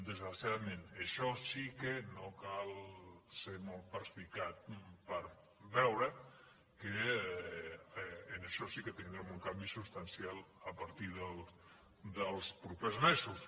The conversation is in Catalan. desgraciadament en això sí que no cal ser molt perspicaç per veure que en això sí que tindrem un canvi substancial a partir dels propers mesos